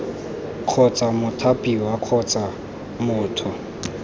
kgotsa mothapiwa kgotsa b motho